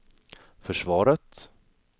försvaret